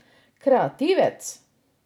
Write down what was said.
Kreativec?